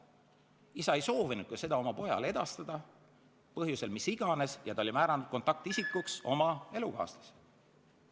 Aga isa ei soovinudki seda pojale teatada, mis iganes põhjusel, ja oli määranud kontaktisikuks oma elukaaslase.